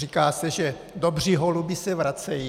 Říká se, že dobří holubi se vracejí.